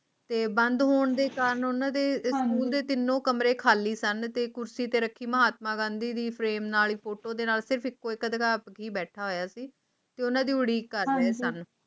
ਤੇ ਬੰਦ ਹੋਣ ਦੇ ਕਾਰਨ ਉਨ੍ਹਾਂ ਨੂੰ ਕਮਰੇ ਖਾਲਿਸਤਾਨ ਅਤੇ ਕੁਰਸੀ ਤੇ ਮਹਾਤਮਾ ਗਾਂਧੀ ਦੀ ਫੋਟੋ ਤੇ ਬੈਠੀ ਉਡੀਕ ਕਰਦੇ ਸਨ